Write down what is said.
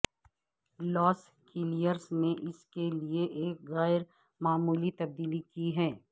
لاس کیلیئرز نے اس کے لئے ایک غیر معمولی تبدیلی کی ہے